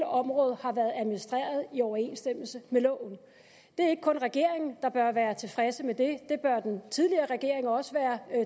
området har været administreret i overensstemmelse med loven det er ikke kun regeringen der bør være tilfredse med det det bør den tidligere regering også være